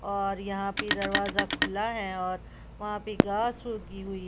और यहां पे दरवाजा खुला है और वहां पे घास उगी हुई--